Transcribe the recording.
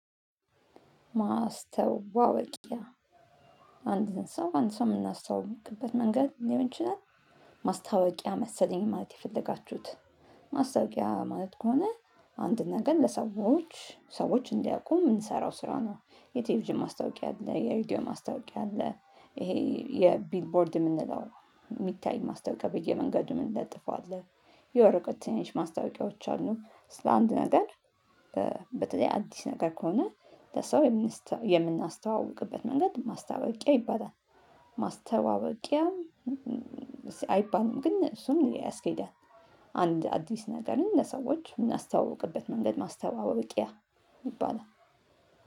ማስተዋወቂያ አንድ ሰው አንድ ሰው የምናስተዋውቅበት መንገድ ሊሆን ይችላል። ማስታወቂያ መሰለኝ ማለት የፈለጋችሁት? ማስታወቂያ ማለት ከሆነ አንድ ነገር ለሰዎች ሰዎች እንዲያውቁ የምንሰራው ስራ ነው። የቴኤቪዥን ማስታወቂያ አለ የሪዲዮ ማስታወቂያ አለ። ይሄ የቢልቦርድ የምንለው የሚታይ ማስታወቂያ በየመንገዱ ምንለጥፎው አለ። የወረቀት ትንሽ ማስታወቅያዎች አሉ ስለ አንድ ነገር። በተለይ አዲስ ነገር ከሆነ ለሰው የምናስተዋውቅበት መንገድ ማስታወቂያ ይባላል። ማስተዋወቅያም አይባልም ግን እሱን ያስኬዳል። አንድ አዲስ ነገርን ለሰዎች የምናስተዋውቅበት መንገድ ማስተዋወቅ ይባላል።